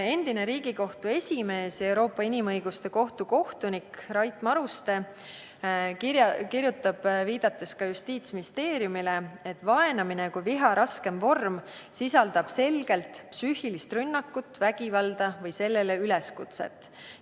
Endine Riigikohtu esimees ja Euroopa Inimõiguste Kohtu kohtunik Rait Maruste kirjutab Justiitsministeeriumile viidates, et vaenamine kui viha raskem vorm sisaldab selgelt psüühilist rünnakut, vägivalda või sellele üleskutset.